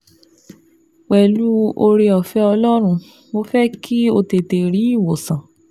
Pẹ̀lú oore-ọ̀fẹ́ Ọlọ́run, mo fẹ́ kí o tètè rí ìwòsàn